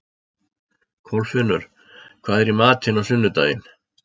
Kolfinnur, hvað er í matinn á sunnudaginn?